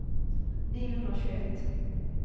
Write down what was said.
niohundratjugoett